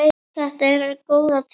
Þetta eru góðar tölur.